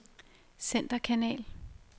centerkanal